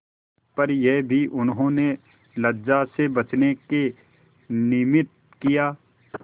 पर यह भी उन्होंने लज्जा से बचने के निमित्त किया